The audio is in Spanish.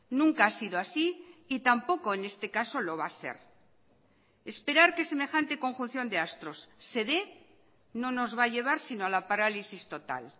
nunca ha sido así y tampoco en este caso lo va a ser esperar que semejante conjunciónde astros se dé no nos va a llevar si no a la parálisis total